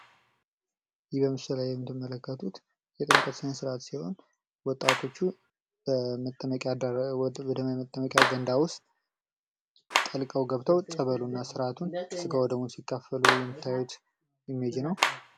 በምስሉላይ የምትመለከቱት የጥምቀት ስነስርዓት ሲሆን ወጣቶች በመታጠቢያ ገንዳ ውስጥ ጠልቀው ገብተው ጠበሉን ፣አስራቱን ስጋ እና ደሙን ሲቀሉ የሚያሳይ የምታዩት ኢሜጅ ነው።